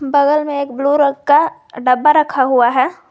बगल में एक ब्लू रंग का डब्बा रखा हुआ है।